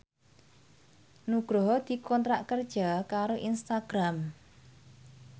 Nugroho dikontrak kerja karo Instagram